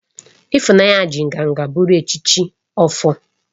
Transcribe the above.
Ifunanya ji nganga buru echichi Ofor